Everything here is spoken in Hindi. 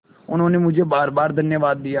उन्होंने मुझे बारबार धन्यवाद दिया